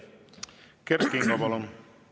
Kert Kingo, palun!